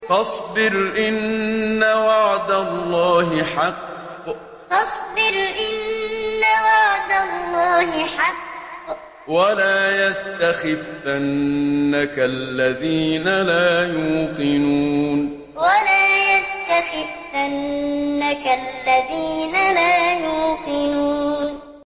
فَاصْبِرْ إِنَّ وَعْدَ اللَّهِ حَقٌّ ۖ وَلَا يَسْتَخِفَّنَّكَ الَّذِينَ لَا يُوقِنُونَ فَاصْبِرْ إِنَّ وَعْدَ اللَّهِ حَقٌّ ۖ وَلَا يَسْتَخِفَّنَّكَ الَّذِينَ لَا يُوقِنُونَ